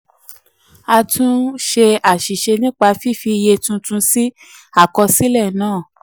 a túnṣe àṣìṣe nípa fífi iye tuntun sí àkọsílẹ náà. um